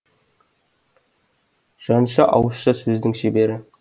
жанша ауызша сөздің шебері